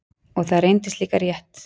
Og það reyndist líka rétt.